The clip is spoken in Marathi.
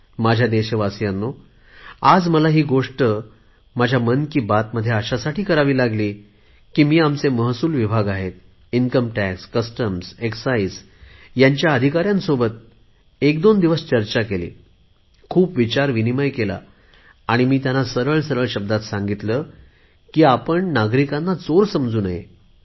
माझ्या देशवासीयांनो आज मला ही गोष्ट मन की बात मध्ये अशासाठी करावी लागली की मी आमचे महसूल विभाग आहेत प्राप्तीकर सीमाशुल्क आणि अबकारी विभागाच्या अधिकाऱ्यांबरोबर मी एकदोन दिवस चर्चा केली खूप विचारविनिमय केला आणि मी त्यांना सरळ सरळ शब्दांत सांगितले की आपण नागरिकांना चोर समजू नये